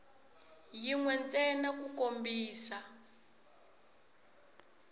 yin we ntsena ku kombisa